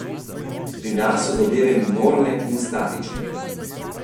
Pri nas so zadeve minorne in statične.